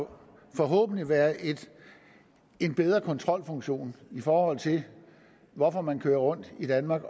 forhåbentlig være en bedre kontrolfunktion i forhold til hvorfor man kører rundt i danmark